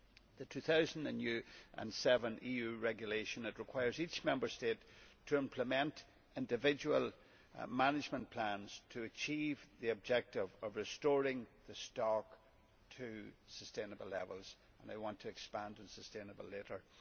The 2007 EU regulation requires each Member State to implement individual management plans to achieve the objective of restoring the stock to sustainable levels and I want to expand on sustainable' later.